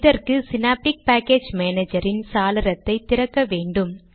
இதற்கு Synaptic package மானேஜரின் சாளரத்தை திறக்கலாம்